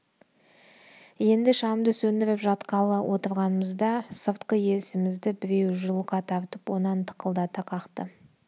енді шамды сөндіріп жатқалы отырғанымызда сыртқы есімізді біреу жұлқа тартып онан тықылдата қақты